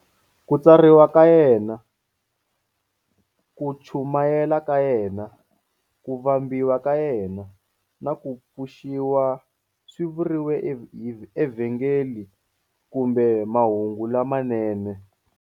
Ku tswariwa ka yena, ku chumayela ka yena, ku vambiwa ka yena, na ku pfuxiwa swi vuriwa eVhangeli kumbe "Mahungu lamanene".